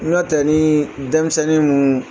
N'ɔ tɛ ni denmisɛnnin minnu.